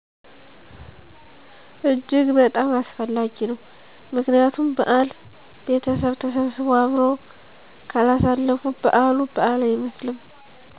እጅግ በጣም አስፈላጊ ነዉ ምክንያቱም በዓል ቤተሰብ ተሰብስቦ አብረው ካላሳለፉ በዓሉ በዓል አይመስልም